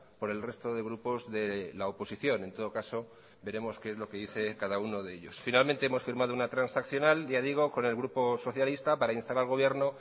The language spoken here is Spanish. por el resto de grupos de la oposición en todo caso veremos qué es lo que dice cada uno de ellos finalmente hemos firmado una transaccional ya digo con el grupo socialista para instar al gobierno